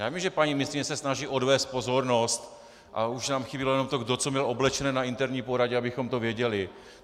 Já vím, že paní ministryně se snaží odvést pozornost, a už nám chybělo jenom to, kdo co měl oblečené na interní poradě, abychom to věděli.